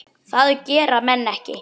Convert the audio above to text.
Það gera menn ekki.